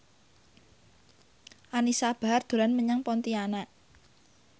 Anisa Bahar dolan menyang Pontianak